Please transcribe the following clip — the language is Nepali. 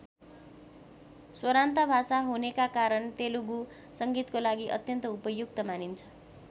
स्वरान्त भाषा हुनेका कारण तेलुगु संगीतको लागि अत्यन्त उपयुक्त मानिन्छ।